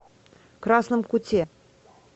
красном куте